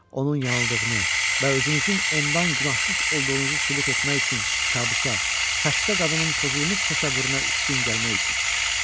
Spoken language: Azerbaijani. Onun yanıldığını və özünüzün ondan günahsız olduğunuzu sübut etmək üçün kabusa, xəstə qadının pozulmuş təsəvvürünə üstün gəlmək üçün.